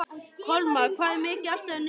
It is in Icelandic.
Kolmar, hvað er mikið eftir af niðurteljaranum?